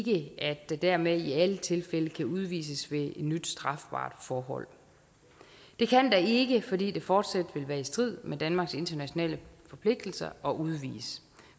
ikke at der dermed i alle tilfælde kan udvises ved et nyt strafbart forhold det kan der ikke fordi det fortsat vil være i strid med danmarks internationale forpligtelser at udvise